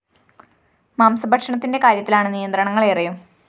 മാംസ ഭക്ഷണത്തിന്റെ കാര്യത്തിലാണ് നിയന്ത്രണങ്ങള്‍ ഏറെയും